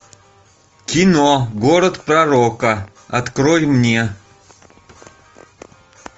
кино город пророка открой мне